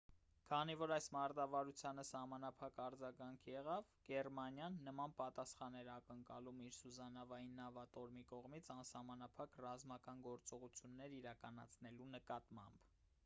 քանի որ այս մարտավարությանը սահմանափակ արձագանք եղավ գերմանիան նման պատասխան էր ակնկալում իր սուզանավային նավատորմի կողմից անսահմանափակ ռազմական գործողություններ իրականացնելու նկատմամբ